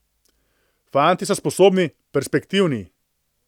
Fantje so sposobni, perspektivni.